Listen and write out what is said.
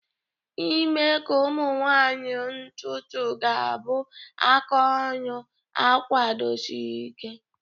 ime ka ụmụ nwanyị ntutu ga-abụ aka oru akwadosiri Ike.